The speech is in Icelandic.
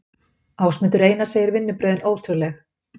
Ásmundur Einar segir vinnubrögðin ótrúleg